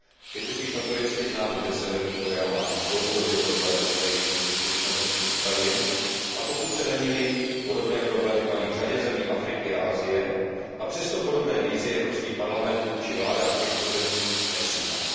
Je totiž notoricky známo, že Severní Korea má dlouhodobě problémy se zajištěním dostatečného množství potravin, a pokud se nemýlím, podobné problémy mají v řadě zemí Afriky a Asie, a přesto podobné výzvy Evropský parlament vůči vládám těchto zemí nepřijímal.